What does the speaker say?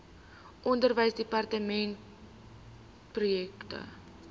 onderwysdepartementprojekte